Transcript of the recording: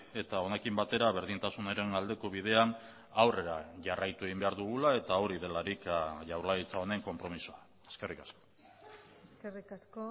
eta honekin batera berdintasunaren aldeko bidean aurrera jarraitu egin behar dugula eta hori delarik jaurlaritza honen konpromisoa eskerrik asko eskerrik asko